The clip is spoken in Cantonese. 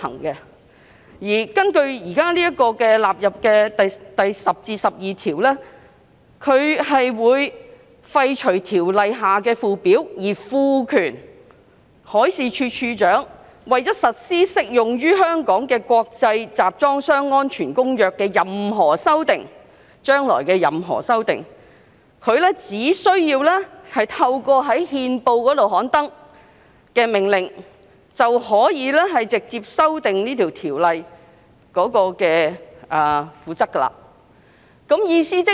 擬議納入《條例草案》的第10至12條建議廢除《條例》的附表，賦權處長為實施適用於香港的《公約》的任何修訂——是將來的任何修訂——而藉在憲報刊登的命令直接修訂《條例》的附表。